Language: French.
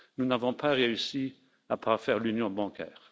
Nous n'avons pas réussi à parfaire l'union bancaire.